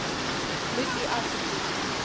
moet u asseblief